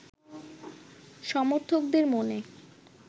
সমর্থকদের মনে